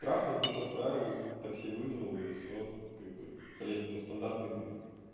трахнул в душ отправил такси вызвал и всё как бы блядь ну стандартный